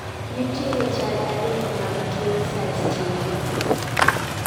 nitiere chal adek mag tuo cystinosis.